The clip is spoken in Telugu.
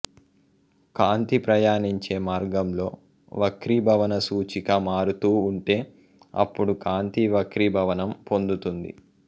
కాంతి ప్రయాణించే మార్గంలో వక్రీభవన సూచిక మారుతూ ఉంటే అప్పుడు కాంతి వక్రీభవనం పొందుతుంది